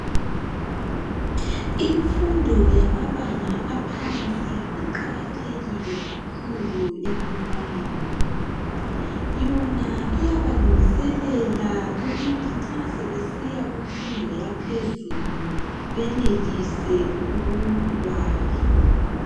Imfundo yamabanga aphansi iqakathekile kakhulu ebantwaneni. Yona iyabalungiselela ukuthi nxa sebesiya kunfundo yaphezulu benelise ukubala.